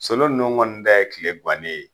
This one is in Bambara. Solo nunnu kɔni ta ye tile gwanen ye.